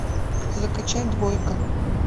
закачай двойка